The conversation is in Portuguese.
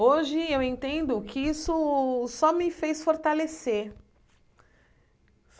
Hoje eu entendo que isso só me fez fortalecer.